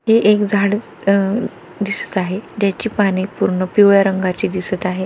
ते एक झाड अ दिसत आहे ज्याची पाने पूर्ण पिवळा रंगाची दिसत आहे.